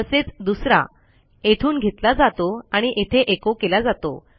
तसेच दुसरा येथून घेतला जातो आणि येथे echoकेला जातो